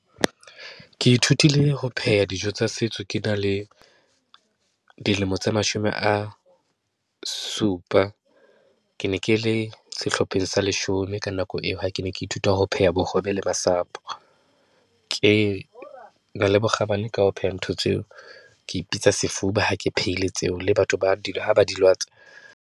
Ke ithutile ho pheha dijo tsa setso ke na le dilemo tse mashome a supa. Ke ne ke le sehlopheng sa leshome ka nako nako eo ha ke ne ke ithuta ho pheha bohobe le masapo. Ke na le bokgabane ka ho pheha ntho tseo, ke sefuba ha ke phehile tseo, le batho ba di, ha ba di latswa.